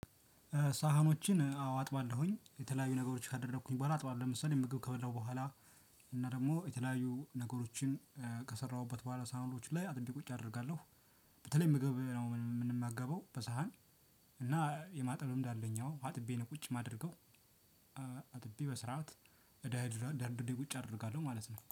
ሳህኖችን አዎ አጥባለሁኝ የተለያዩ ነገሮችን ካደረኩኝ በኋላ አጥባለሁ። ለምሳሌ ምግብ ከበላሁ በኋላ እና ደግሞ የተለያዩ ነገሮችን ከሰራሁበት በኋላ ሳህኖች ላይ አጥንት ቁጭ አደርጋለሁ። በተለይ ምግብ ያው የምንመገበው በሳህን እና የማጠብ ልምድ አለኝ አዎ አጥቤ ነው ቁጭ የማደርገው አጥቤ በስርዓት ደርድሬ ደርድሬ ቁጭ አደርጋለሁ ማለት ነው።